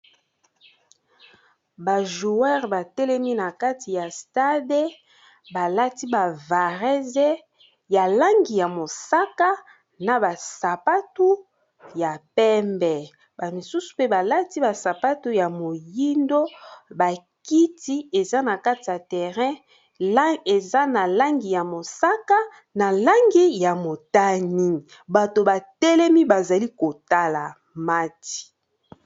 Ba joueur batelemi na kati ya stade balati ba varese ya langi ya mosaka na basapatu ya pembe ba misusu pe balati basapatu ya moyindo bakiti eza na kati ya terrain eza na langi ya mosaka na langi ya motani bato batelemi bazali kotala match